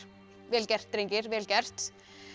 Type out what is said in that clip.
vel gert drengir vel gert